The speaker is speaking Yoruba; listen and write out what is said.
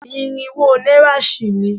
Irinwó náírà sì ni